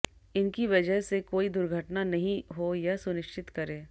इनकी वजह से कोई दुर्घटना नहीं हो यह सुनिश्चित करे